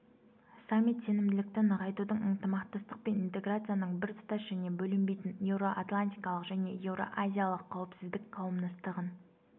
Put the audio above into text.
саммит сенімділікті нығайтудың ынтымақтастық пен интеграцияның біртұтас және бөлінбейтін еуро-атлантикалық және еуро-азиялық қауіпсіздік қауымдастығын